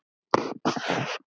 Finnst þau eitt.